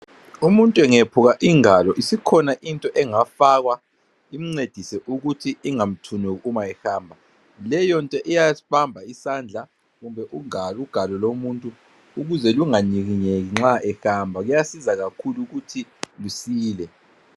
Umtunt' engephuka ingalo, iskhona into engafakwa imncedise ukuthi ingamthunuk' uma ehamba. Leyonto iyasbamba isandla kumbe ugal ugalo lomuntu ukuze lunganyikinyeki nxa ehamba. Kuyasiza kakhulu ukuthi lusile.